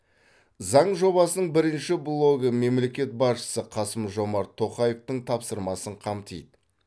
заң жобасының бірінші блогы мемлекет басшысы қасым жомарт тоқаевтың тапсырмасын қамтиды